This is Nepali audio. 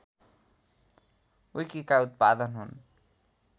विकीका उत्पादन हुन्